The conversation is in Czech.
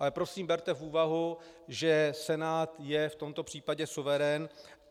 Ale prosím, berte v úvahu, že Senát je v tomto případě suverén.